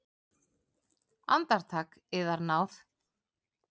Andartak, yðar náð!